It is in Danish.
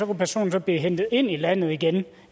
personen så blive hentet ind i landet igen